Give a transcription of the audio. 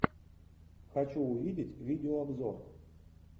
хочу увидеть видеообзор